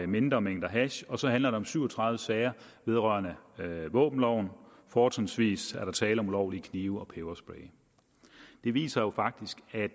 mindre mængder hash og så handler det om syv og tredive sager vedrørende våbenloven fortrinsvis er der tale om ulovlige knive og peberspray det viser jo faktisk at